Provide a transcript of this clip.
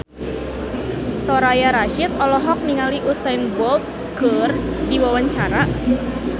Soraya Rasyid olohok ningali Usain Bolt keur diwawancara